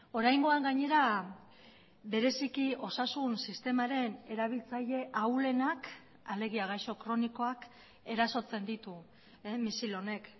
oraingoan gainera bereziki osasun sistemaren erabiltzaile ahulenak alegia gaixo kronikoak erasotzen ditu misil honek